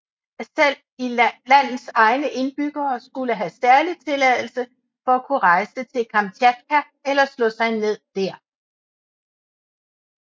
Selv landets egne indbyggere skulle have særlig tilladelse for at kunne rejse til Kamtjatka eller slå sig ned dér